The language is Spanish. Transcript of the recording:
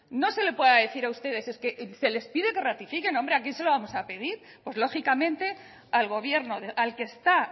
no se le pueda decir a ustedes es que se les pide que ratifiquen hombre a quién se lo vamos a pedir pues lógicamente al gobierno al que está